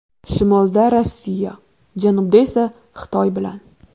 Shimolda Rossiya, janubda esa Xitoy bilan.